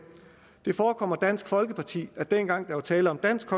det forekommer dansk folkeparti at dengang der var tale om dansk